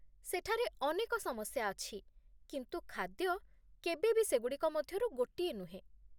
ସେଠାରେ ଅନେକ ସମସ୍ୟା ଅଛି କିନ୍ତୁ ଖାଦ୍ୟ କେବେବି ସେଗୁଡ଼ିକ ମଧ୍ୟରୁ ଗୋଟିଏ ନୁହେଁ!